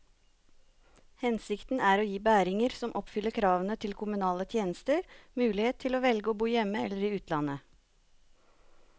Hensikten er å gi bæringer som oppfyller kravene til kommunale tjenester, mulighet til å velge å bo hjemme eller i utlandet.